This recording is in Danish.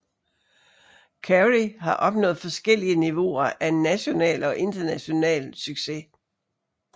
Carey har opnået forskellige niveauer af national og internationale succes